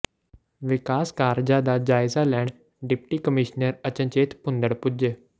ਵਿਕਾਸ ਕਾਰਜਾਂ ਦਾ ਜਾਇਜ਼ਾ ਲੈਣ ਡਿਪਟੀ ਕਮਿਸ਼ਨਰ ਅਚਨਚੇਤ ਭੂੰਦੜ ਪੁੱਜੇ